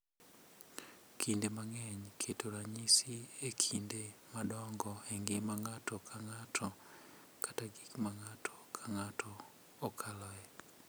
Kinde mang’eny, keto ranyisi e kinde madongo e ngima ng’ato ka ng’ato kata gik ma ng’ato ka ng’ato okaloe.